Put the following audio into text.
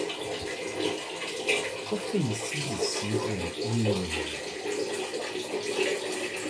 Coffin Siris syndrome ing'eyo nade?